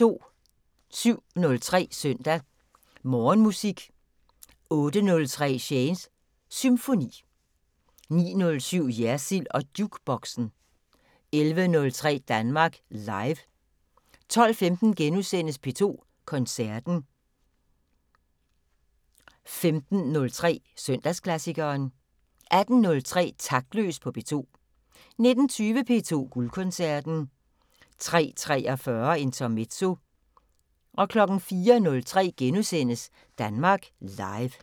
07:03: Søndag Morgenmusik 08:03: Shanes Symfoni 09:07: Jersild & Jukeboxen 11:03: Danmark Live 12:15: P2 Koncerten * 15:03: Søndagsklassikeren 18:03: Taktløs på P2 19:20: P2 Guldkoncerten 03:43: Intermezzo 04:03: Danmark Live *